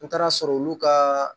N taara sɔrɔ olu ka